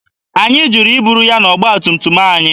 Anyị jụrụ iburu ya n'ọgba tum tum anyị.